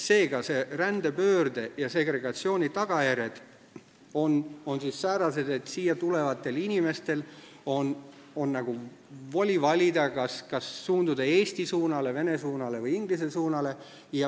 Seega, rändepöörde ja segregatsiooni tagajärjed on säärased, et siia tulevatel inimesel on voli valida, kas suunduda eesti suunale, vene suunale või inglise suunale.